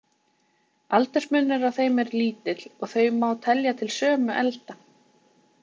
Aldursmunur á þeim er lítill, og þau má telja til sömu elda.